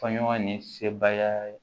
Faɲɔgɔn ni sebaya